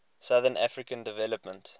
southern african development